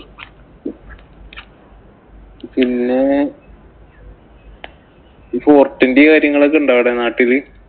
പിന്നെ ഇന്‍റെ കാര്യങ്ങളൊക്കെ ഉണ്ടോ അവിടെ നാട്ടില്.